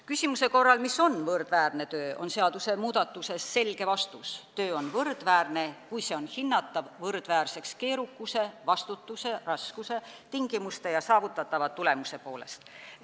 Küsimusele, mis on võrdväärne töö, on seadusmuudatuses selge vastus: töö on võrdväärne, kui see on hinnatav võrdväärseks keerukuse, vastutuse, raskuse, tingimuste ja saavutatava tulemuse poolest.